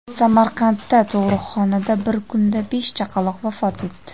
Samarqandda tug‘uruqxonada bir kunda besh chaqaloq vafot etdi.